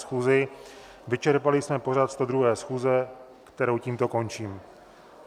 schůzi, vyčerpali jsme pořad 102. schůze, kterou tímto končím.